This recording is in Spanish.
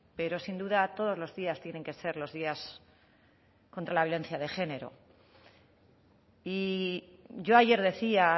pero sin duda todos los días tienen que ser los días contra la violencia de género y yo ayer decía